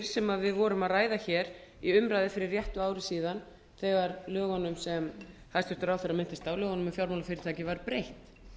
sem við vorum að ræða í umræðu fyrir réttu ári síðan þegar lögunum sem hæstvirtur ráðherra minntist á lögunum um fjármálafyrirtæki var breytt